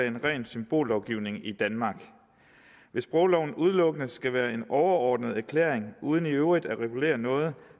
en ren symbollovgivning i danmark hvis sprogloven udelukkende skal være en overordnet erklæring uden i øvrigt at regulere noget